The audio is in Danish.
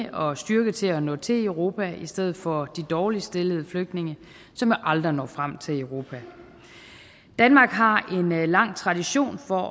og styrke til at nå til europa i stedet for de dårligst stillede flygtninge som aldrig når frem til europa danmark har en lang tradition for